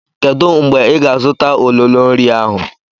Kedu mgbe ị ga-azụta ololo nri ahụ?